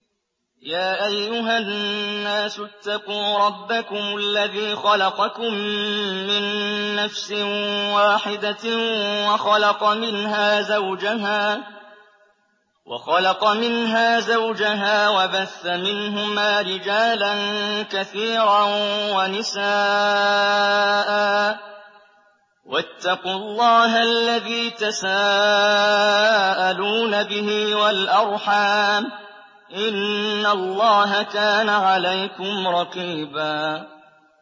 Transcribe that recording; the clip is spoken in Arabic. يَا أَيُّهَا النَّاسُ اتَّقُوا رَبَّكُمُ الَّذِي خَلَقَكُم مِّن نَّفْسٍ وَاحِدَةٍ وَخَلَقَ مِنْهَا زَوْجَهَا وَبَثَّ مِنْهُمَا رِجَالًا كَثِيرًا وَنِسَاءً ۚ وَاتَّقُوا اللَّهَ الَّذِي تَسَاءَلُونَ بِهِ وَالْأَرْحَامَ ۚ إِنَّ اللَّهَ كَانَ عَلَيْكُمْ رَقِيبًا